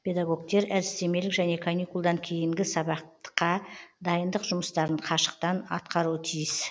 педагогтер әдістемелік және каникулдан кейінгі сабатқа дайындық жұмыстарын қашықтан атқаруы тиіс